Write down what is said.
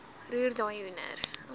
roer daai hoender